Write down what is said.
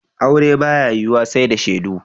Aure ba ya yiwuwa sai da shaidu.